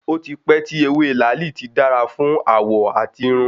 Ó ti pẹ́ tí ewé làálì ti dára fún àwọ̀ àti irun.